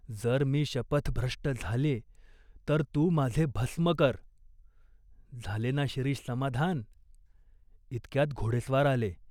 जर मी शपथभ्रष्ट झाल्ये तर तू माझे भस्म कर !'झाले ना शिरीष समाधान ?" इतक्यात घोडेस्वार आले.